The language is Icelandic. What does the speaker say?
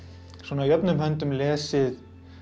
jöfnum höndum lesið